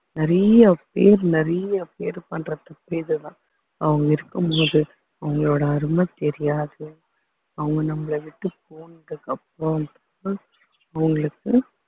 நிறைய பேர் நிறைய பேர் பண்ற தப்பே இதுதான் அவங்க இருக்கும்போது அவங்களோட அருமை தெரியாது அவங்க நம்மளை விட்டு போனதுக்கு அப்புறம் தான் அவங்களுக்கு